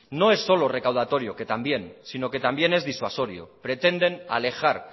no es solo recaudatorio que también sino que también es disuasorio pretenden alejar